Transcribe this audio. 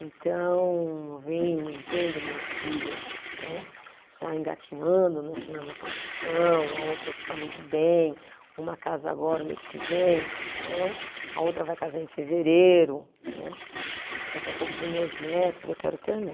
Então, ver, vendo minhas filhas né, já engatinhando na na profissão, a outra já está muito bem, uma casa agora o mês que vem né, a outra vai casar em fevereiro né, daqui a pouco vem meus netos, eu quero ter né